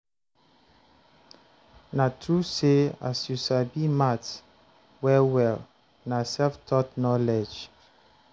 na true say as you sabi maths well well na self-taught knowledge?